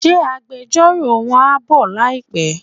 Ṣé agbẹjọ́rò won ń bọ̀ láìpé?